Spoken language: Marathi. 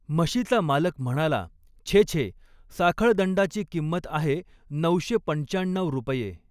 म्हशीचा मालक म्हणाला, छे छे साखळदंडाची किंमत आहे नऊशे पंच्चाण्णव रुपये.